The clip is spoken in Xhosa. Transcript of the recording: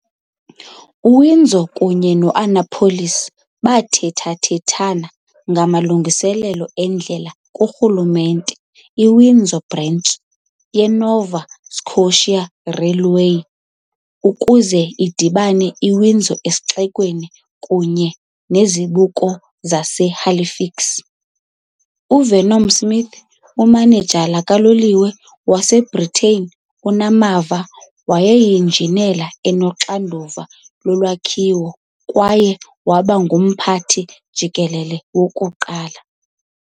UWindsor kunye ne-Annapolis bathethathethane ngamalungelo endlela kurhulumente "iWindsor Branch" yeNova Scotia Railway ukuze idibanise iWindsor esixekweni kunye nezibuko laseHalifax. UVernon Smith, umanejala kaloliwe waseBritane onamava wayeyinjineli enoxanduva lolwakhiwo kwaye waba ngumphathi jikelele wokuqala.